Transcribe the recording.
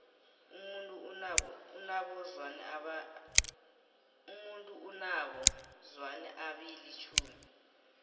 umuntu unabo zwane abili tjhumi